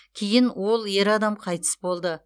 кейін ол ер адам қайтыс болды